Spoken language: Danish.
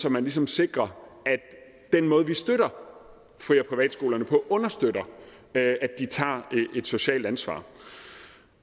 at man ligesom sikrer at den måde vi støtter fri og privatskolerne på understøtter at de tager et socialt ansvar